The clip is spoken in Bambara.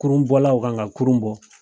Kurun bɔlaw kan ka kurun bɔ.